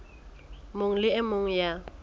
mong le e mong ya